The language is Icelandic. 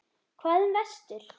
Hvað um vestur?